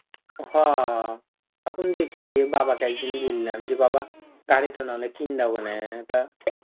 হ এখন দেখি বাবাকে একদিন বললাম যে বাবা গাড়ি টা নাহলে কিন্ দাও বনে তা,